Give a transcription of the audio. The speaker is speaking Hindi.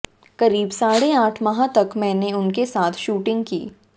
करीब साढ़े आठ माह तक मैंने उनके साथ शूटिंग की